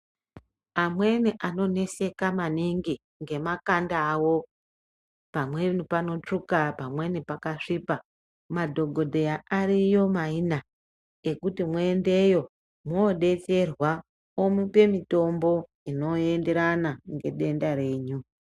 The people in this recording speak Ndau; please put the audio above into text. Amweni anoneseka aningi ngemakanda awo pamweni panotsvuka pamweni pakasvipa madhokodheya ariyo maina ekuti mwoendeyo mwodetserwa omupe mutombo inoenderana ngedenda renyu.